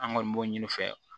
An kɔni b'o ɲini u fɛ